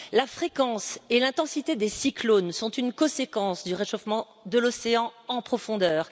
La fréquence et l'intensité des cyclones sont une conséquence du réchauffement de l'océan en profondeur.